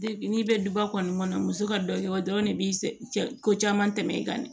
n'i bɛ duba kɔni kɔnɔ muso ka dɔ kɛ o dɔrɔn de bi ko caman tɛmɛ i kan dɛ